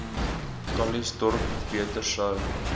calitzdorp beter sou